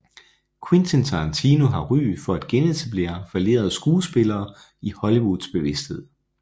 Quentin Tarantino har ry for at genetablere fallerede skuespillere i Hollywoods bevidsthed